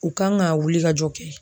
U kan ka wulikajɔ kɛ.